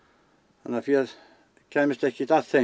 þannig að féð kæmist ekkert að þeim